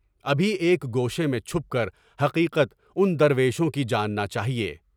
ابھی ایک گوشے میں چھپ کر حقیقت ان درویشوں کی جاننا ہے۔